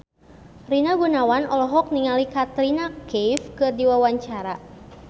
Rina Gunawan olohok ningali Katrina Kaif keur diwawancara